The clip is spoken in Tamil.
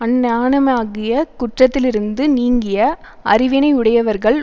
அஞ்ஞானமாகிய குற்றத்திலிருந்து நீங்கிய அறிவினையுடையவர்கள்